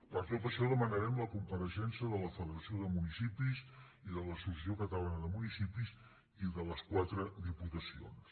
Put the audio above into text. per tot això demanarem la compareixença de la federació de municipis i de l’associació catalana de municipis i de les quatre diputacions